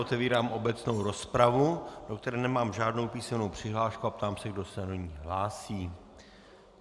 Otevírám obecnou rozpravu, do které nemám žádnou písemnou přihlášku, a ptám se, kdo se do ní hlásí.